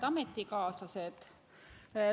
Head ametikaaslased!